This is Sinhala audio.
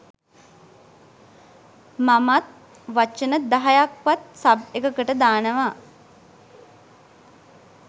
මමත් වචන දහයක් වත් සබ් එකකට දානවා.